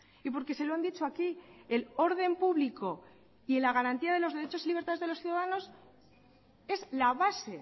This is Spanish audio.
y porque se lo han dicho aquí el orden público y la garantía de los derechos y libertades de los ciudadanos es la base